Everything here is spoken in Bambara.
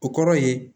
O kɔrɔ ye